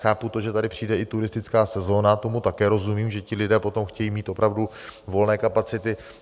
Chápu to, že tady přijde i turistická sezóna, tomu také rozumím, že ti lidé potom chtějí mít opravdu volné kapacity.